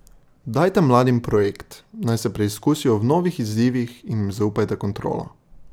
Dajte mladim projekt, naj se preizkusijo v novih izzivih in jim zaupajte kontrolo.